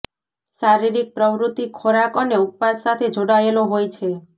શારીરિક પ્રવૃત્તિ ખોરાક અને ઉપવાસ સાથે જોડાયેલો હોય છે